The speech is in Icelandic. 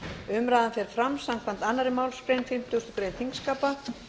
umræðan fer fram samkvæmt annarri málsgrein fimmtugustu grein þingskapa